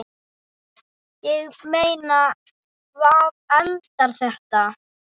Ég meina, hvar endar þetta?